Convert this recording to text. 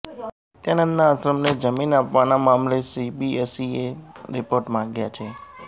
નિત્યાનંદના આશ્રમને જમીન આપવાના મામલે સીબીએસઈએ રિપોર્ટ માંગ્યો છે